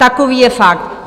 Takový je fakt.